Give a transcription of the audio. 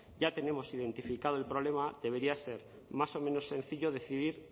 ya tenemos identificado el problema debería ser más o menos sencillo decidir